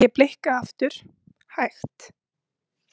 Ég blikka aftur, hægt.